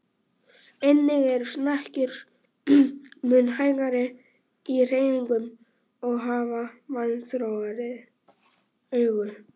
Einnig eru snekkjur mun hægari í hreyfingum og hafa vanþróaðri augu.